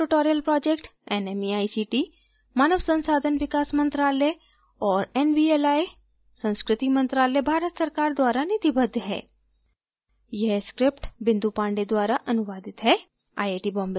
spoken tutorial project nmeict मानव संसाधन विकास मंत्रायल और nvli संस्कृति मंत्रालय भारत सरकार द्वारा निधिबद्ध है